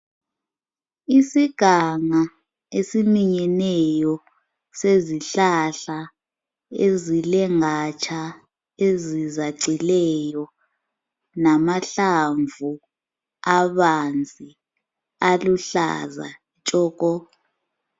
Isiganga esiminyeneyo sezihlahla ezilengatsha ezizacileyo namahlamvu abanzi, aluhlaza tshoko!